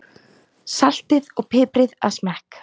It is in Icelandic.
Saltið og piprið að smekk.